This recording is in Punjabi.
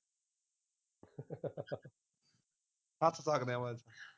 ਹੱਸ ਸਕਦੇ ਆ ਬਸ